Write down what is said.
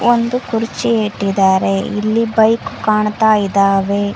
ಒಂದು ಕುರ್ಚಿ ಇಟಿದಾರೆ ಇಲ್ಲಿ ಬೈಕ್ ಕಾಣತಾಯಿದಾವೆ.